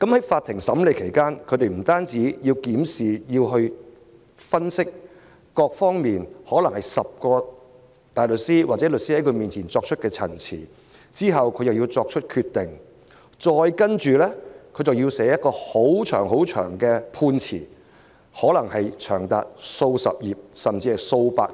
在法庭審理案件期間，法官不但要檢視和分析各方面的資料，可能有10名大律師或律師在他面前作出陳辭，又要作出決定，接着還要撰寫冗長的判詞，可能長達數十頁，甚至數百頁。